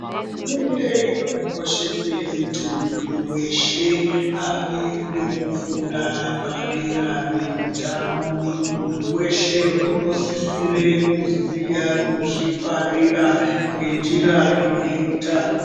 Hurumende inokoshese kuti muntu veshe ave nekufunda padera peutano. Muntu veshe unosisire kuziya kuzvingwarira ngenjira ine utano.